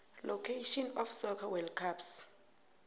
location of soccer world cups